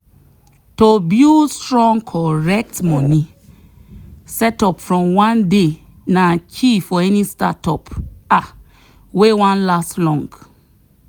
to build strong correct money setup from one day na key for any startup um wey wan last long.